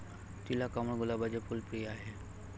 तिला कमळ, गुलाबाचे फुल प्रिय आहे.